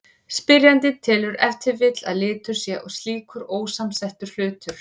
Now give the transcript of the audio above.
Spyrjandinn telur ef til vill að litur sé slíkur ósamsettur hlutur.